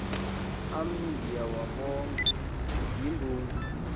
am ndiyawabonga yimbumba